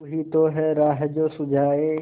तू ही तो है राह जो सुझाए